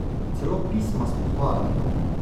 Celo pisma s pohvalami!